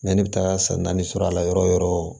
ne bɛ taga san naani sɔrɔ a la yɔrɔ o yɔrɔ